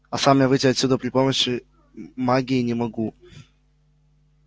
а сам я выйти отсюда при помощи магии не могу